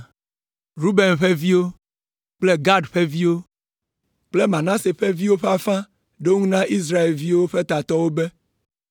Ruben ƒe viwo kple Gad ƒe viwo kple Manase ƒe viwo ƒe afã ɖo eŋu na Israelviwo ƒe tatɔwo be,